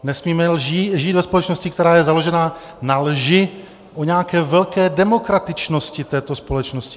Nesmíme žít ve společnosti, která je založena na lži o nějaké velké demokratičnosti této společnosti.